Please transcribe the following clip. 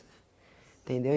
Entendeu?